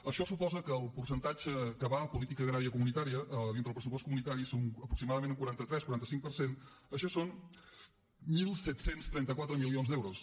això suposa que el percentatge que va a política agrària comunitària dintre el pressupost comunitari és aproximadament un quaranta tres un quaranta cinc per cent això són disset trenta quatre milions d’eu ros